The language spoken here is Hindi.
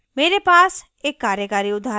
मेरे पास एक कार्यकारी उदाहरण है